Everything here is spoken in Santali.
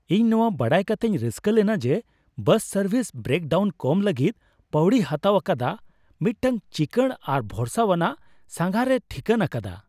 ᱤᱧ ᱱᱚᱶᱟ ᱵᱟᱰᱟᱭ ᱠᱟᱛᱮᱧ ᱨᱟᱹᱥᱠᱟᱹ ᱞᱮᱱᱟ ᱡᱮ ᱵᱟᱥ ᱥᱟᱨᱵᱷᱤᱥ ᱵᱨᱮᱠ ᱰᱟᱣᱩᱱ ᱠᱚᱢ ᱞᱟᱹᱜᱤᱫ ᱯᱟᱣᱲᱤᱭ ᱦᱟᱛᱟᱣ ᱟᱠᱟᱫᱟ, ᱢᱤᱫᱴᱟᱝ ᱪᱤᱠᱟᱹᱲ ᱟᱨ ᱵᱷᱚᱨᱥᱟᱣᱟᱱᱟᱜ ᱥᱟᱸᱜᱷᱟᱨᱮ ᱴᱷᱤᱠᱟᱹᱱ ᱟᱠᱟᱫᱟ ᱾